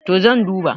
to zan duba